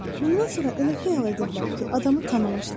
Bundan sonra elə xəyal edirlər ki, adamı tanımışlar.